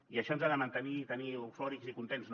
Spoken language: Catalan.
i això ens ha de mantenir i tenir eufòrics i contents no